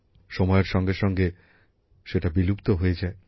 সময়ের সঙ্গে সঙ্গে সেটা বিলুপ্ত হয়ে যায়